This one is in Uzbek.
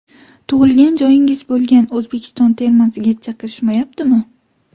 Tug‘ilgan joyingiz bo‘lgan O‘zbekiston termasiga chaqirishmayaptimi?